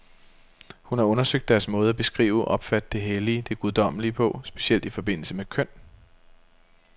Hun har undersøgt deres måde at beskrive, opfatte det hellige, det guddommelige på, specielt i forbindelse med køn.